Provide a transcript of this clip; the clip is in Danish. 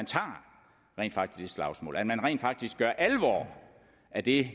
tager det slagsmål at man rent faktisk gør alvor af det